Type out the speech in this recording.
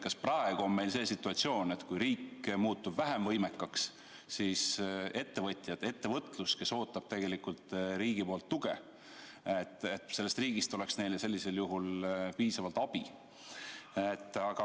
Kas praegu on meil see situatsioon, et kui riik muutub vähem võimekaks, siis ettevõtlusel, kes ootab tegelikult riigi tuge, oleks sellest riigist sellisel juhul piisavalt abi?